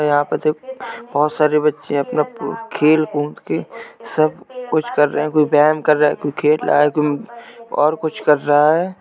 यहाँ प दे बोहोत सारे बच्चे अपना खेल कूद के सब कुछ कर रहे है। कोई व्यायाम कर रहा है कोई खेल रहा है कोई और कुछ कर रहा है।